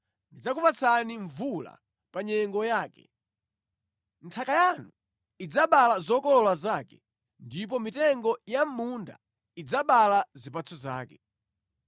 ndidzakupatsani mvula pa nyengo yake. Nthaka yanu idzabala zokolola zake, ndipo mitengo ya mʼmunda idzabala zipatso zake.